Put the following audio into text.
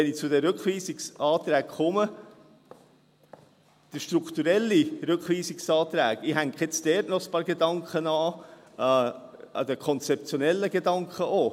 Wenn ich zu den Rückweisungsanträgen komme: Der strukturelle Rückweisungsantrag … Ich hänge jetzt dort noch ein paar Gedanken an den konzeptionellen Gedanken an.